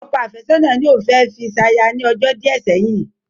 Ọkọ àfẹ́sọ̀nà ní òun fẹ́ fi ṣaya ní ọjọ́ díẹ̀ sẹ́yìn